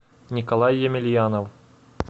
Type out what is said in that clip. николай емельянов